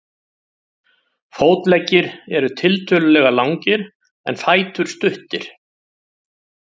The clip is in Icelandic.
Fótleggir eru tiltölulega langir en fætur stuttir.